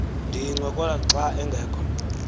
ndiyincokola xa angekhoyo